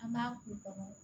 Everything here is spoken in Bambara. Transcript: An b'a k'u kɔnɔ